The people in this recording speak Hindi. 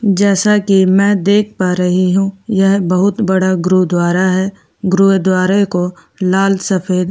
जैसा कि मैं देख पा रही हूँ यहां बहुत बड़ा गुरुद्वारा है गुरुद्वारा को लाल सफेद --